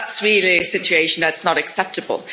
That's really a situation that's not acceptable.